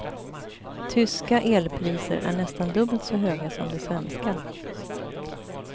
Tyska elpriser är nästan dubbelt så höga som de svenska.